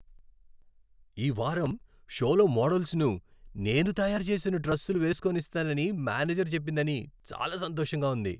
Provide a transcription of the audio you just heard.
ఈ వారం షోలో మోడల్స్ను నేను తయారు చేసిన డ్రెస్సులు వేసుకోనిస్తానని మేనేజర్ చెప్పిందని చాలా సంతోషంగా ఉంది.